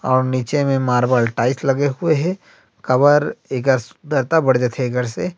और नीचे में मार्बल टाइल्स लगे हुए हे काबर एकर सुन्दरता बढ़ जाथे एकर से--